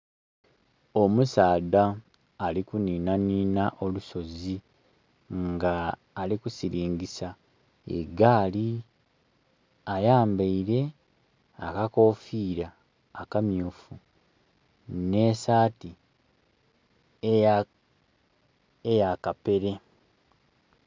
Omusaadha ali kuninanina olusozi nga alikusilingisa egaali, ayambeire akakofira akamyufu ne saati eya kapere.